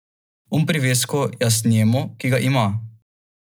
Jaz bi jih odigral še deset, če bi jih bilo treba.